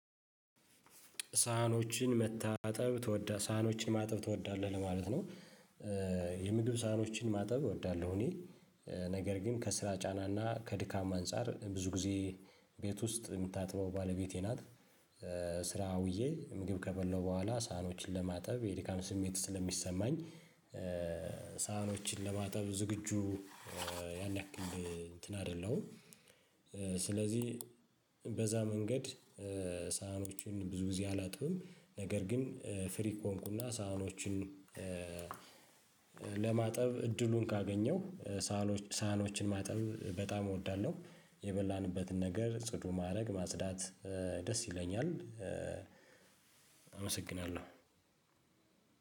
ሳህኖችን መታጠብ ትዎዳ ሳህኖችን ማጠብ ትወዳለህ ለማለት ነው? የምግብ ሳህኖችን ማጠብ እወዳለሁ እኔ። ነገር ግን ከስራ ጫናና ከድካም አንፃር ብዙ ጊዜ ቤት ውስጥ የምታጥበው ባለቤቴ ናት። ስራ ውዬ ምግብ ከበላሁ በኋላ ሳህኖችን ለማጠብ የድካም ስሜት ስለሚሰማኝ። ሳህኖችን ለማጠብ ዝግጁ ያን ያክል እንትን አይደለሁም። ስለዚህ በዛ መንገድ ሳህኖቹን ብዙ ግዜ አላጥብም። ነገር ግን ፍሪ ከሆንኩና ሳህኖቹን ለማጠብ እድሉን ካገኘው ሳህኖችን ማጠብ በጣም እወዳለሁ። የበላንበትን ነገር ጽዱ ማድረግ ማጽዳት ደስ ይለኛል። አመሰግናለሁ።